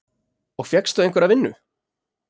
Og fékkstu einhverja vinnu?